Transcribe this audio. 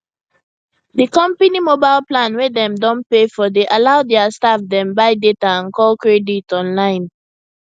di company mobile plan wey dem don pay for dey allow their staff dem buy data and call credit online